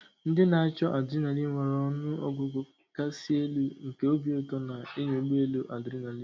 Ndị na-achọ adrenaline nwara ọnụ ọgụgụ kasị elu nke obi ụtọ na ịnya ụgbọ elu adrinalin.